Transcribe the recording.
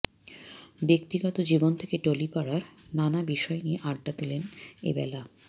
ব্যক্তিগত জীবন থেকে টলিপাড়ার নান বিষয় নিয়ে আড্ডা দিলেন এবেলা